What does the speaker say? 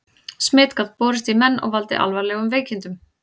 Smit gat borist í menn og valdið alvarlegum veikindum.